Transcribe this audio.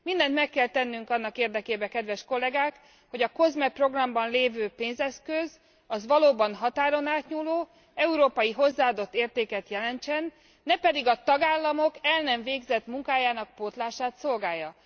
Mindent meg kell tennünk annak érdekében, kedves kollégák, hogy a COSME programban lévő pénzeszköz valóban határon átnyúló, európai hozzáadott értéket jelentsen, ne pedig a tagállamok el nem végzett munkájának pótlását szolgálja.